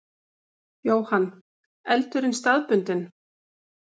Jóhann: Eldurinn staðbundinn?